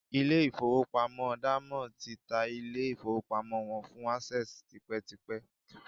ilé-ìfowópamọ́ Diamond ti ta ilé-ìfowópamọ́ wọn fún Access tipẹ́tipẹ́